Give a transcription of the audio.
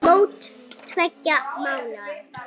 Mót tveggja mánaða.